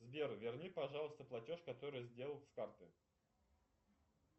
сбер верни пожалуйста платеж который я сделал с карты